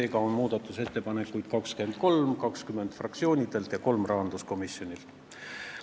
Seega on muudatusettepanekuid kokku 23: fraktsioonidelt 20 ja rahanduskomisjonilt kolm.